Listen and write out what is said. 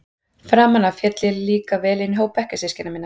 Framan af féll ég líka vel inn í hóp bekkjarsystkina minna.